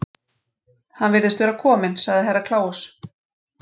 Hann virðist vera kominn, sagði Herra Kláus.